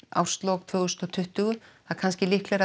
árslok tvö þúsund og tuttugu og líklega